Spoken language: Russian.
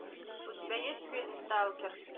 у тебя есть фильм сталкер